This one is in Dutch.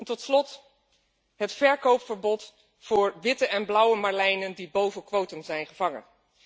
Tot slot het verkoopverbod voor witte en blauwe marlijnen die boven quotum zijn gevangen.